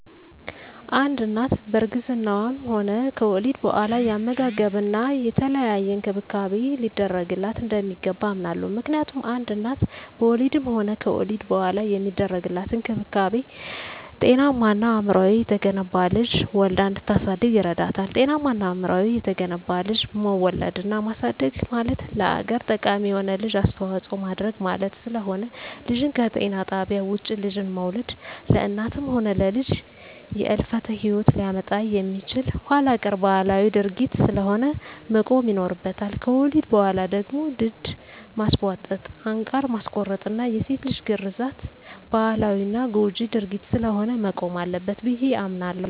አንድ እናት በእርግዝናዋም ሆነ ከወሊድ በኋላ የአመጋገብና የተለያየ እንክብካቤ ሊደረግላት እንደሚገባ አምናለሁ። ምክንያቱም አንድ እናት በወሊድም ሆነ ከወሊድ በኋላ የሚደረግላት እንክብካቤ ጤናማና አእምሮው የተገነባ ልጅ ወልዳ እንድታሳድግ ይረዳታል። ጤናማና አእምሮው የተገነባ ልጅ መውለድና ማሳደግ ማለት ለሀገር ጠቃሚ የሆነ ልጅ አስተዋጽኦ ማድረግ ማለት ስለሆነ። ልጅን ከጤና ጣቢያ ውጭ ልጅን መውለድ ለእናትም ሆነ ለልጅ የህልፈተ ሂወት ሊያመጣ የሚችል ኋላቀር ባህላዊ ድርጊት ስለሆነ መቆም ይኖርበታል። ከወሊድ በኋላ ደግሞ ድድ ማስቧጠጥ፣ አንቃር ማስቆረጥና የሴት ልጅ ግርዛት ባህላዊና ጎጅ ድርጊት ስለሆነ መቆም አለበት ብየ አምናለሁ።